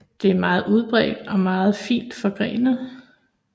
Det er meget udbredt og fint forgrenet